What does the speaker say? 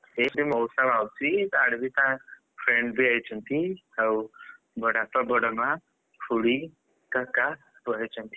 ସେଇ ସବୁ ମଉସା ମାଉସୀ ଆଡେବି ତା friends ବି ଆଇଛନ୍ତି ଆଉ ବଡବାପା, ବଡ ମା, ଖୁଡୀ, କାକା ପଳେଇଛନ୍ତି।